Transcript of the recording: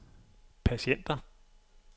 patienter